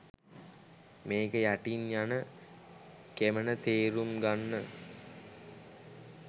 මේක යටින් යන කෙමණ තේරුම් ගන්න